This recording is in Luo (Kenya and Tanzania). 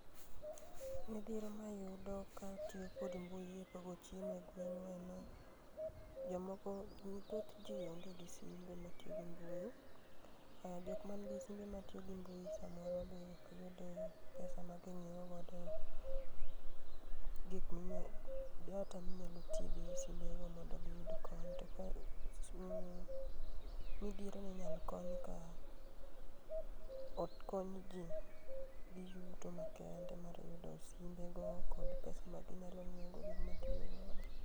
Midhiero mayudo ka atiyo kod mbui e pogo chiemo e gweng en ni, jomoko, thoth jii onge gi simbe matiyo gi mbui ,aah jokma nigi simbe matiyo gi mbui samoro be ok oyudo pesa ma ginyiewo godo gik minya, data minyalo tigo e simbego mondo giyud kony, to kamidhiero ni inyal kony ka okony jii gi yuto makende mar yudo simbe go kod pesa ma ginyalo nyiew go gikma gitiyo godo